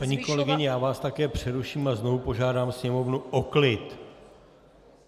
Paní kolegyně, já vás také přeruším a znovu požádám sněmovnu o klid.